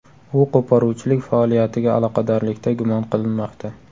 U qo‘poruvchilik faoliyatiga aloqadorlikda gumon qilinmoqda.